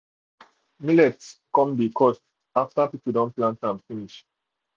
millet come dey cost um after people don plant am finish